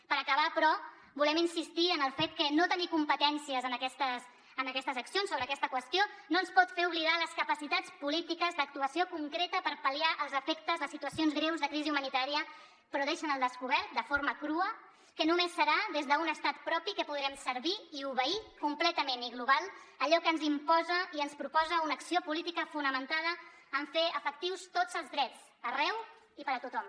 per acabar però volem insistir en el fet que no tenir competències en aquestes accions sobre aquesta qüestió no ens pot fer oblidar les capacitats polítiques d’actuació concreta per pal·liar els efectes de situacions greus de crisi humanitària però deixen al descobert de forma crua que només serà des d’un estat propi que podrem servir i obeir completament i global allò que ens imposa i ens proposa una acció política fonamentada en fer efectius tots els drets arreu i per a tothom